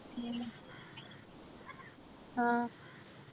ഉം ആഹ്